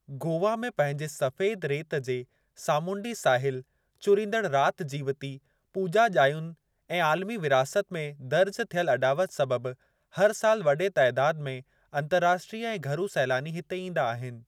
गोवा में पंहिंजे सफेद रेत जे सामूंडी साहिल, चुरिंदड़ राति जीवति, पूॼा जायुनि ऐं आलिमी विरासत में दरिजु थियलु अॾावति सबबि हर साल वडे॒ तइदादु में अंतर्राष्ट्रीय ऐं घरू सैलानी हिते ईंदा आहिनि।